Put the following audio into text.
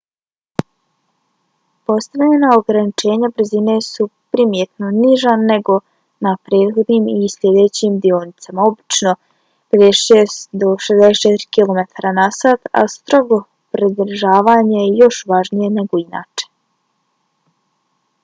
postavljena ograničenja brzine su primjetno niža nego na prethodnim i sljedećim dionicama - obično 35-40 mi/h 56-64 km/ h - a strogo pridržavanje je još važnije nego inače